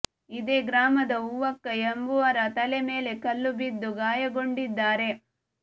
ಇದೇ ಗ್ರಾಮದ ಹೂವಕ್ಕ ಎಂಬುವರ ತಲೆ ಮೇಲೆ ಕಲ್ಲು ಬಿದ್ದು ಗಾಯಗೊಂಡಿದ್ದಾರೆ